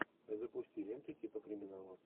запусти ленту типа криминала